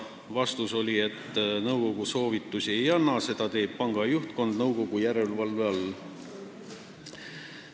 Vastus oli, et nõukogu soovitusi ei anna, seda teeb panga juhtkond nõukogu järelevalve all.